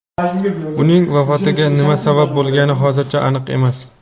Uning vafotiga nima sabab bo‘lgani hozircha aniq emas.